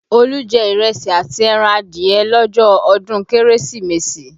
Olu jẹ ìrẹsì àti ẹran adìẹ lọ́jọ́ ọdún Kérésìmesì